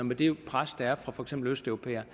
med det pres der er fra for eksempel østeuropæere